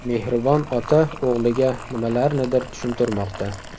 Mehribon ota o‘g‘liga nimalarnidir tushuntirmoqda.